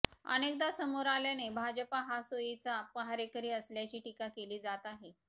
अनेकदा समोर आल्याने भाजप हा सोयीचा पहारेकरी असल्याची टीका केली जात आहे